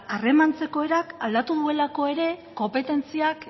harremantzeko erak aldatu duelako ere konpetentziak